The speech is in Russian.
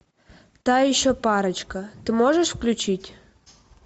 та еще парочка ты можешь включить